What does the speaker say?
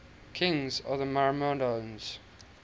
kings of the myrmidons